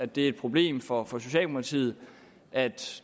det er et problem for for socialdemokratiet at